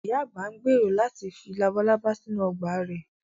Ìyá àgbà ń gbèrò láti fi labalábá sínú ọgbà rẹ̀